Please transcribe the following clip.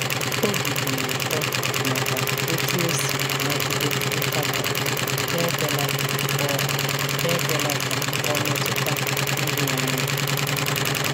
Obi dị ya ụtọ maka otú o si nagide nkatọ n'ekwela ka ọ n'ekwela ka ọ metụta uru onwe ya.